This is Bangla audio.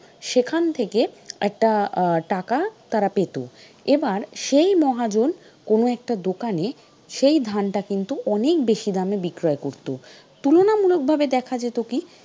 সেখান থেকে একটা আহ টাকা তারা পেত, এবার সেই মহাজন কোন একটা দোকানে সেই ধানটা কিন্তু অনেক বেশি দামে বিক্রয় করতো তুলনামূলক ভাবে দেখা যেত কি,